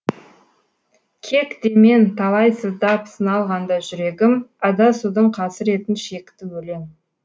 кек демен талай сыздап сыналғанда жүрегім адасудың қасіретін шекті өлең